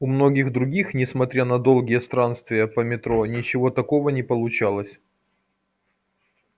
у многих других несмотря на долгие странствия по метро ничего такого не получалось